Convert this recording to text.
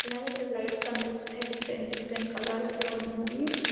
అలాగే ఇక్కడ లైడ్స్ కన్పిస్తున్నాయి డిఫరెంట్-డిఫరెంట్ కలర్స్ లో ఉన్నాయి.